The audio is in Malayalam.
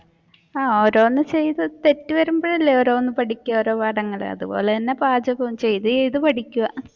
ആഹ് ഓരോന്ന് ചെയ്തു തെറ്റ് വരുമ്പോഴല്ലേ ഓരോന്ന് പഠിക്കുക ഓരോ പാഠങ്ങൾ അതുപോലെ തന്നെ പാചകവും ചെയ്തു ചെയ്തു പഠിക്കുക.